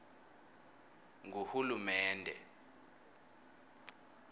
nguhulumende